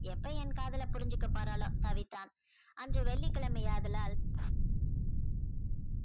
எப்ப என் காதலை புரிஞ்சிக்க போறாளோ தவித்தான் அன்று வெள்ளிக்கிழமை ஆதலால்